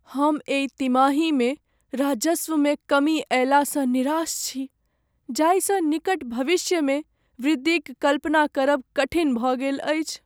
हम एहि तिमाहीमे राजस्वमे कमी अयलासँ निराश छी जाहिसँ निकट भविष्यमे वृद्धिक कल्पना करब कठिन भऽ गेल अछि।